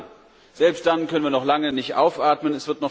Und selbst dann können wir noch lange nicht aufatmen.